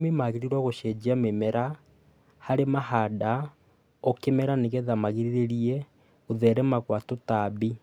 Arĩmi magĩrĩirwo gũcenjia mĩmera harĩa mahanda o kĩmera nĩgetha magirĩrĩrie gũtherema gwa tũtambi.